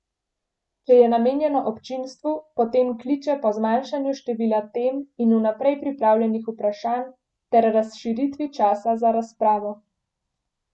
Če je namenjeno občinstvu, potem kliče po zmanjšanju števila tem in vnaprej pripravljenih vprašanj ter razširitvi časa za razpravo.